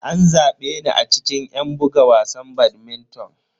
An zabe ni a cikin yan buga wasan badminton.